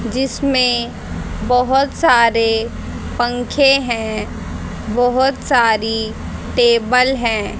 जिसमें बहोत सारे पंखे हैं बहोत सारी टेबल है।